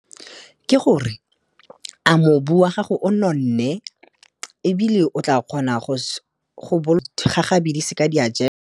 Ke gore, a mobu wa gago o nonne ebile o tla kgona gagabi di seka di a .